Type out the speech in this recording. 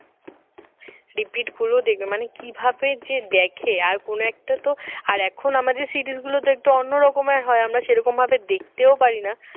repeat গুলো দেখবে মানে কিভাবে যে দেখে আর কোন একটা তো আর এখন আমাদের series গুলো একটু অন্যরকমের হয় আমরা যেরকম ভাবে দেখতেও পারি না